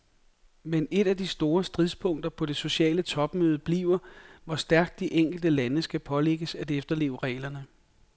Men et af de store stridspunkter på det sociale topmøde bliver, hvor stærkt de enkelte lande skal pålægges at efterleve reglerne.